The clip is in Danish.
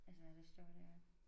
Altså der står deroppe